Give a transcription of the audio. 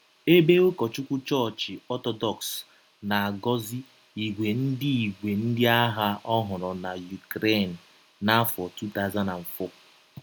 Ebe ụkọchụkwụ Chọọchị Ọtọdọks na - agọzi ìgwè ndị ìgwè ndị agha ọhụrụ na Ukraine, n’afọ 2004